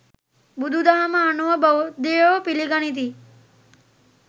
බුදුදහම අනුව බෞද්ධයෝ පිළිගනිති.